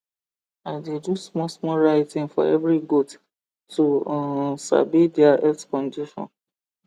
i dey do small small writing for every goat to um sabi there health condition